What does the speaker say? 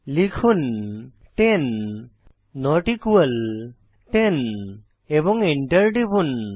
লিখুন 10 not equal 10 এবং enter টিপুন